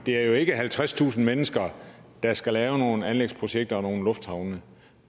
er jo ikke halvtredstusind mennesker der skal lave nogle anlægsprojekter og nogle lufthavne